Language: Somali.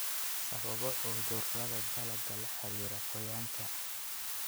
Sababo cudurada dalagga la xiriira qoyaanka.